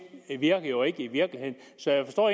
virker jo ikke i virkeligheden så jeg forstår